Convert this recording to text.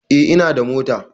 Eh ina da mota